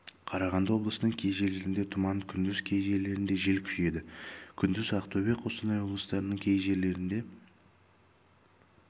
қарағанды облысының кей жерлерінде тұман күндіз кей жерлерінде жел күшейеді күндіз ақтөбе қостанай облыстарының кей жерлерінде